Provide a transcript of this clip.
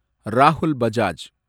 Rahul Bajaj